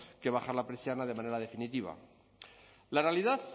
que bajar la persiana de manera definitiva la realidad